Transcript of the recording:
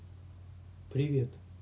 привет